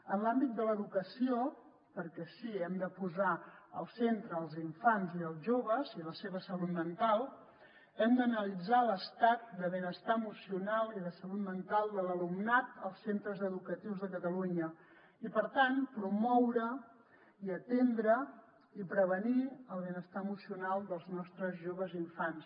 en l’àmbit de l’educació perquè sí que hem de posar al centre els infants i els joves i la seva salut mental hem d’analitzar l’estat de benestar emocional i de salut mental de l’alumnat als centres educatius de catalunya i per tant promoure i atendre i prevenir el benestar emocional dels nostres joves i infants